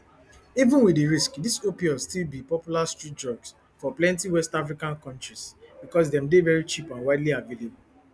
even wit di risks dis opioids still ne popular street drugs for plenti west african kontris becos dem dey very cheap and widely available